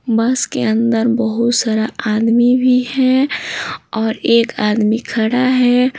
बस के अंदर बहुत सारा आदमी भी है और एक आदमी खड़ा है।